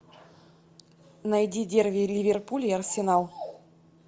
найди дерби ливерпуль и арсенал